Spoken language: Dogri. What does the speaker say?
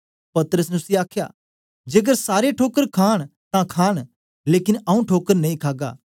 पतरस ने उसी आखया जेकर सारे ठोकर खांन तां खांन लेकन आऊँ ठोकर नेई खागा